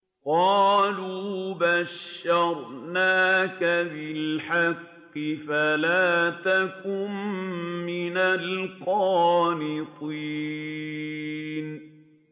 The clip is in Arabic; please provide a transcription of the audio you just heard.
قَالُوا بَشَّرْنَاكَ بِالْحَقِّ فَلَا تَكُن مِّنَ الْقَانِطِينَ